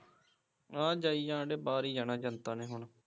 ਹਾਂ ਜਾਈ ਜਾਣਦੇ ਬਾਹਰ ਈ ਜਾਣਾ ਜਨਤਾ ਨੇ ਹੁਣ